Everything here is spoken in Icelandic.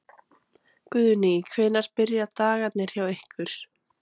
Guðný: Hvenær byrja dagarnir hjá ykkur?